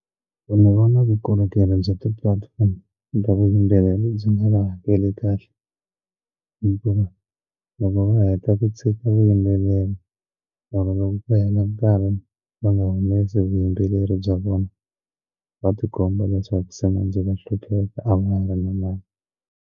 Ni vona vukorhokeri bya ti-platform eka vuyimbeleri byi nga vahakeli kahle hikuva loko va heta ku tshika vuyimbeleri ku hela nkarhi va nga humesi vuyimbeleri bya vona va tikomba leswaku se manjhe va hlupheka a va ha ri na mali.